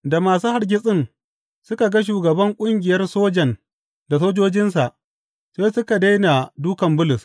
Da masu hargitsin suka ga shugaban ƙungiyar sojan da sojojinsa, sai suka daina dūkan Bulus.